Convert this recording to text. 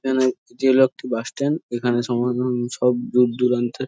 N এটি হল একটি বাস স্ট্যান্ড এইখানে সম্ভবত সব দূরদূরান্তে ।